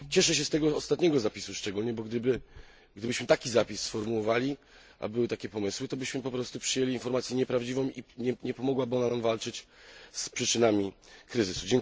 Cieszę się z tego ostatniego zapisu szczególnie, bo gdybyśmy taki zapis sformułowali a były takie pomysły to byśmy po prostu przyjęli informację nieprawdziwą i nie pomogłaby ona nam walczyć z przyczynami kryzysu.